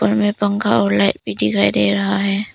में पंखा और लाइट भी दिखाई दे रहा है।